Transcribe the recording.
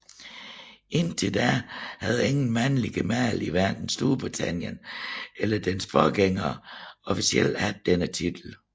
Indtil da havde ingen mandlige gemal i hverken Storbritannien eller dets forgængere officielt haft denne titel